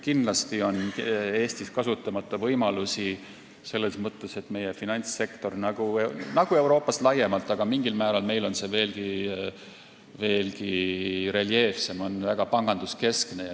Kindlasti on Eestis kasutamata võimalusi selles mõttes, et meie finantssektor on – Euroopas laiemalt, aga meil mingil määral veelgi reljeefsemalt – väga panganduskeskne.